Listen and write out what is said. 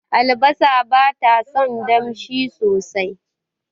Albasa batason damshi sosai